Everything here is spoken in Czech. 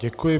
Děkuji.